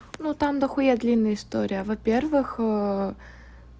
ну там до хуя длинная история во-первых